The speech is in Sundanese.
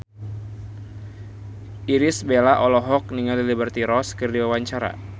Irish Bella olohok ningali Liberty Ross keur diwawancara